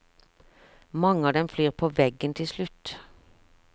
Mange av dem flyr på veggen til slutt.